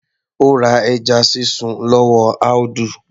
Ó ra ẹja sísun lọ́wọ́ Audu